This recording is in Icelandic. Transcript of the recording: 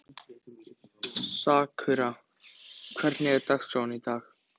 Sakura, hvernig er dagskráin í dag?